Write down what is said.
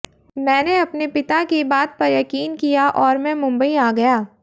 मैंने अपने पिता की बात पर यकीन किया और मैं मुंबई आ गया